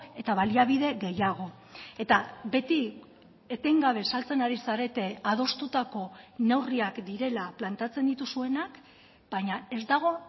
eta baliabide gehiago eta beti etengabe saltzen ari zarete adostutako neurriak direla planteatzen dituzuenak baina ez dago